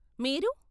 మీరు?